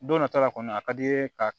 Don nata la kɔni a ka d'i ye ka